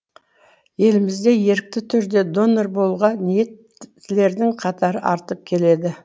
елімізде ерікті түрде донор болуға ниеттілердің қатары артып келеді